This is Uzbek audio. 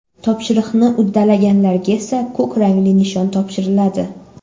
Topshiriqni uddalaganlarga esa ko‘k rangli nishon topshiriladi.